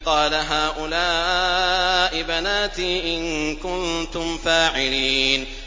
قَالَ هَٰؤُلَاءِ بَنَاتِي إِن كُنتُمْ فَاعِلِينَ